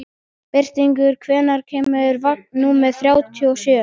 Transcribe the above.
Birtingur, hvenær kemur vagn númer þrjátíu og sjö?